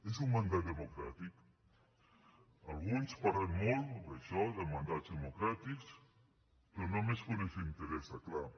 és un mandat democràtic alguns parlen molt d’això de mandats democràtics però només quan els interessa clar